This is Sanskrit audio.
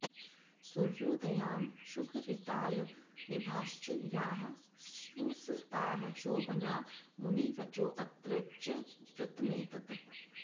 सूर्योदयांशुघरितालनिभाश्च याः स्युस् ताः शोभना मुनिवचोऽत्र च वृत्तमेतत्